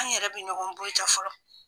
An yɛrɛ be ɲɔgɔn buruja fɔlɔ.